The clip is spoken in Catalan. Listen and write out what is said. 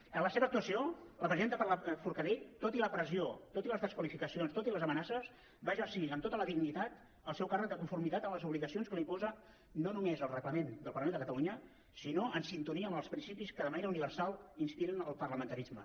en la seva actuació la presidenta forcadell tot i la pressió tot i les desqualificacions tot i les amenaces va exercir amb tota la dignitat el seu càrrec de conformitat amb les obligacions que li imposa no només el reglament del parlament de catalunya sinó en sintonia amb els principis que de manera universal inspiren el parlamentarisme